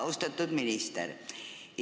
Austatud minister!